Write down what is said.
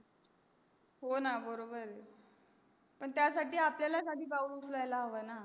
हो न बरोबर आहे तुझ पण त्यासाठी आपल्यालास आधी पाऊल उंचलव लागेल